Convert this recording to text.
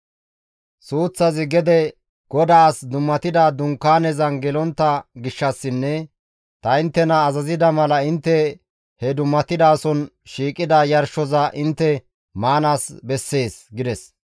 Suuththazi gede GODAAS dummatida dunkaanezan gelontta gishshassinne ta inttena azazida mala intte he dummatidason shiiqida yarshoza intte maanaas bessees» gides.